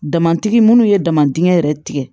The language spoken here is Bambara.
Dama tigi minnu ye dama dingɛ yɛrɛ tigɛ